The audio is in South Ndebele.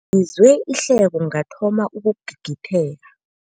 Ngizwe ihleko ngathoma ukugigitheka.